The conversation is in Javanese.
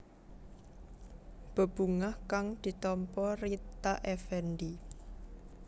Bebungah kang ditampa Rita Effendy